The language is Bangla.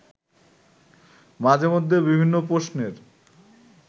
মাঝে মধ্যে বিভিন্ন প্রশ্নের